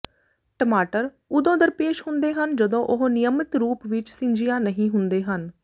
ਟਮਾਟਰ ਉਦੋਂ ਦਰਪੇਸ਼ ਹੁੰਦੇ ਹਨ ਜਦੋਂ ਉਹ ਨਿਯਮਿਤ ਰੂਪ ਵਿਚ ਸਿੰਜਿਆ ਨਹੀਂ ਹੁੰਦੇ ਹਨ